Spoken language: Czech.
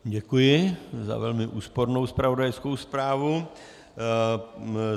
Děkuji za velmi úspornou zpravodajskou zprávu.